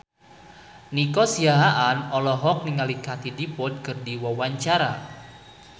Nico Siahaan olohok ningali Katie Dippold keur diwawancara